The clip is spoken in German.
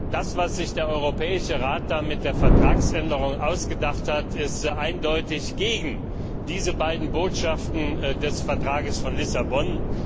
Das, was sich der Europäische Rat mit der Vertragsänderung ausgedacht hat, ist eindeutig gegen diese beiden Botschaften des Vertrags von Lissabon.